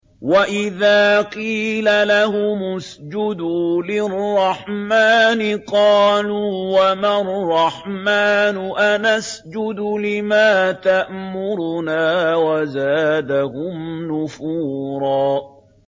وَإِذَا قِيلَ لَهُمُ اسْجُدُوا لِلرَّحْمَٰنِ قَالُوا وَمَا الرَّحْمَٰنُ أَنَسْجُدُ لِمَا تَأْمُرُنَا وَزَادَهُمْ نُفُورًا ۩